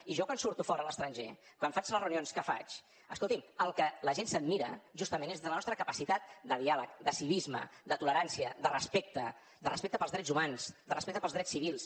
i jo quan surto fora a l’estranger quan faig les reunions que faig escolti’m el que la gent s’admira justament és de la nostra capacitat de diàleg de civisme de tolerància de respecte de respecte pels drets humans de respecte pels drets civils